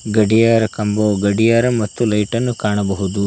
ಗಡಿಯಾರ ಕಂಬವು ಗಡಿಯಾರ ಮತ್ತು ಲೈಟನ್ನು ಕಾಣಬಹುದು.